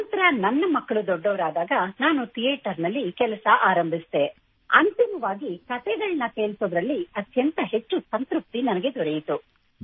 ನಂತರ ನನ್ನ ಮಕ್ಕಳು ದೊಡ್ಡವರಾದಾಗ ನಾನು ಥಿಯೇಟರ್ ನಲ್ಲಿ ಕೆಲಸ ಆರಂಭಿಸಿದೆ ಮತ್ತು ಅಂತಿಮವಾಗಿ ಕತೆಗಳನ್ನು ಕೇಳಿಸುವುದರಲ್ಲಿ ಅತ್ಯಂತ ಹೆಚ್ಚು ಸಂತೃಪ್ತಿ ದೊರೆಯಿತು